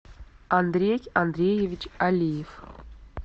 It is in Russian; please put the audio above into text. андрей андреевич алиев